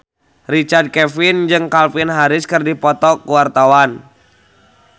Richard Kevin jeung Calvin Harris keur dipoto ku wartawan